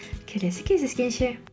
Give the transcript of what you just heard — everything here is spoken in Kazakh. келесі кездескенше